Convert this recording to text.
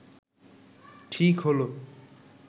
ঠিক হলো